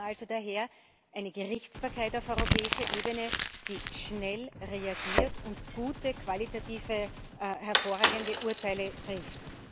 Wir brauchen daher eine Gerichtsbarkeit auf europäischer Ebene, die schnell reagiert und qualitativ gute, hervorragende Urteile trifft.